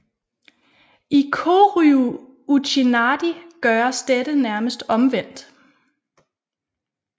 I Koryu Uchinadi gøres dette nærmest omvendt